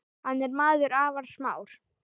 Hann er maður afar smár.